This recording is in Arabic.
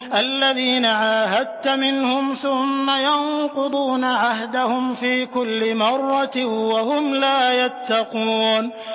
الَّذِينَ عَاهَدتَّ مِنْهُمْ ثُمَّ يَنقُضُونَ عَهْدَهُمْ فِي كُلِّ مَرَّةٍ وَهُمْ لَا يَتَّقُونَ